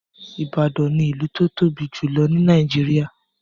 Ìbàdàn ni ìlú tó tóbi jùlọ ní Nàìjíríà